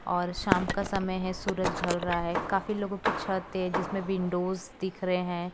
और शाम का समय है सूरज ढल रहा है काफी लोगों की छत है जिसमें विंडोस दिख रहे हैं।